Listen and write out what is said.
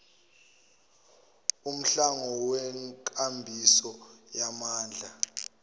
umhlangano wenkambiso yamandla